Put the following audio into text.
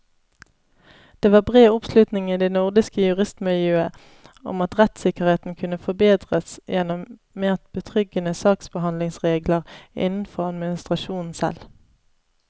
Det var bred oppslutning i det nordiske juristmiljøet om at rettssikkerheten kunne forbedres gjennom mer betryggende saksbehandlingsregler innenfor administrasjonen selv.